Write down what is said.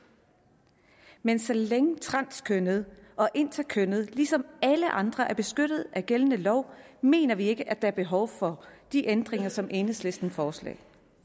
men så længe transkønnede og interkønnede ligesom alle andre er beskyttet af gældende lov mener vi ikke der er behov for de ændringer som enhedslisten foreslår